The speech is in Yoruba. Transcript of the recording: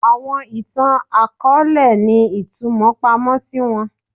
Awọn itan-akọọlẹ ni itumọ pamọ si wọn